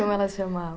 Como ela chamava?